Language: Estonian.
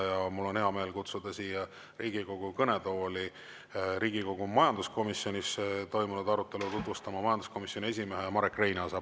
Ja mul on hea meel kutsuda siia Riigikogu kõnetooli Riigikogu majanduskomisjonis toimunud arutelu tutvustama majanduskomisjoni esimees Marek Reinaas.